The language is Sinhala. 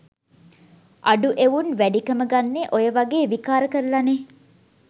අඩු එවුන් වැඩිකම ගන්නෙ ඔය වගෙ විකාර කරලනෙ